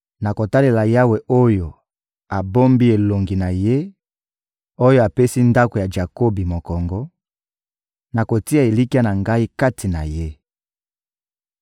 Nakotalela Yawe oyo abombi elongi na Ye, oyo apesi ndako ya Jakobi mokongo; nakotia elikya na ngai kati na Ye.